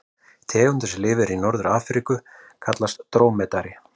Tegundin sem lifir í Norður-Afríku kallast drómedari.